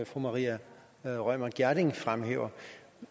fru maria reumert gjerding fremhævede